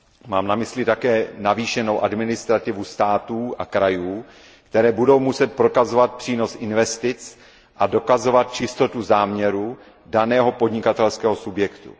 Mám na mysli také navýšenou administrativu států a krajů, které budou muset prokazovat přínos investic a dokazovat čistotu záměrů daného podnikatelského subjektu.